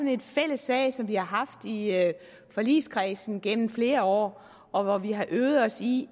en fælles sag som vi har haft i forligskredsen gennem flere år og hvor vi har øvet os i